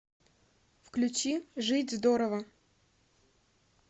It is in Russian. включи жить здорово